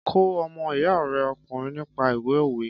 Kọ́ ọmọ iya rẹ ọkùnrin nípa ìwé òwe!